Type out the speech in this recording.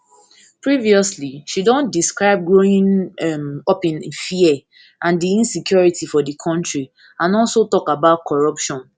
previously she don describe growing um up in fear and di insecurity for di kontri and also tok about corruption